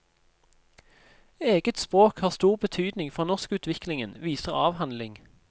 Eget språk har stor betydning for norskutviklingen, viser avhandling.